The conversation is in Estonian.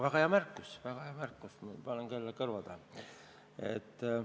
Aga väga hea märkus, ma panen selle kõrva taha.